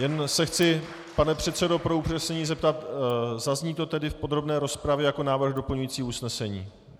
Jen se chci, pane předsedo, pro upřesnění zeptat: Zazní to tedy v podrobné rozpravě jako návrh doplňující usnesení?